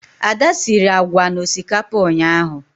Ada siri agwa na osikapa ụnyahụ.